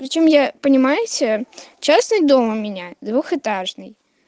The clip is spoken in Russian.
зачем я понимаете частные дом у меня двухэтажный